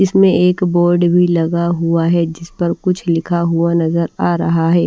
इसमें एक बोर्ड भी लगा हुआ है जिस पर कुछ लिखा हुआ नजर आ रहा है।